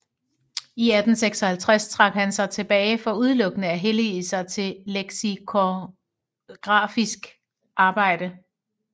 I 1856 trak han sig tilbage for udelukkende at hellige sig til leksikografiske arbejder